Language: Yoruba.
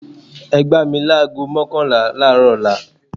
Ẹ gbá mi láágo mọ́kànlá àárọ̀ ọ̀la